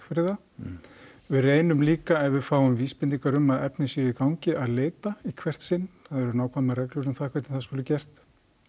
fyrir það við reynum líka ef við fáum vísbendingar um að efni séu í gangi að leita í hvert sinn það er eru nákvæmar reglur um það hvernig það skuli gert